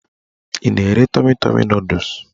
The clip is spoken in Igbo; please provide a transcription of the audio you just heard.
Ị na-ere tọmi tọmi nọdụs?